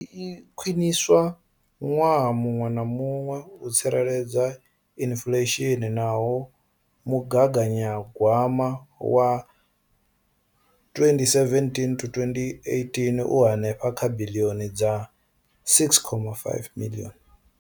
Iyi i a khwiniswa ṅwaha muṅwe na muṅwe u tsireledza inflesheni naho mugaganya gwama wa 2017,18 u henefha kha biḽioni dza R6.5.